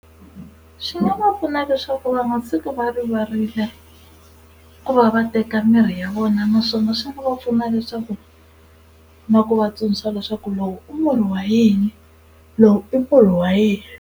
Swi nga va pfuna leswaku va nga tshuki va rivarile ku va va teka mirhi ya vona, naswona swi nga va pfuna leswaku na ku va tsundzuxa leswaku lowu u murhi wa yini lowu i murhi wa yini.